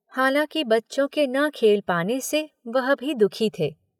हालांकि बच्चों के न खेल पाने से वह भी दुखी थे।